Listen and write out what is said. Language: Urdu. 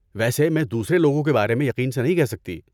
ویسے میں دوسرے لوگوں کے بارے میں یقین سے نہیں کہہ سکتی۔